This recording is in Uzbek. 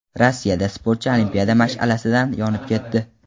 Rossiyada sportchi olimpiada mash’alasidan yonib ketdi.